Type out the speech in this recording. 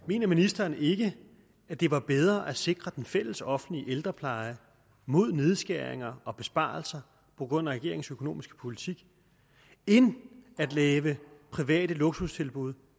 mener ministeren ikke at det var bedre at sikre den fælles offentlige ældrepleje mod nedskæringer og besparelser på grund af regeringens økonomiske politik end at lave private luksustilbud